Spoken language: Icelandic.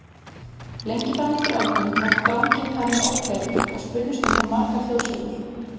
Lengi fram eftir öldum var dranginn talinn ókleifur og spunnust um hann margar þjóðsögur.